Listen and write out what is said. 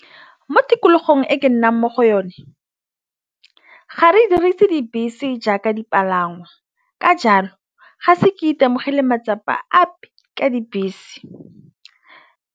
Mo tikologong e ke nnang mo go yone ga re dirise dibese jaaka dipalangwa ka jalo ga se ke itemogele matsapa ape ka dibese.